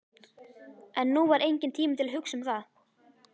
En nú var enginn tími til að hugsa um það.